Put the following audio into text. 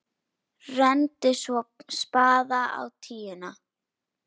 Renndi svo spaða á tíuna.